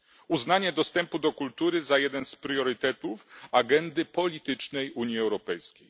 Uznanie dostępu do kultury za jeden z priorytetów agendy politycznej Unii Europejskiej.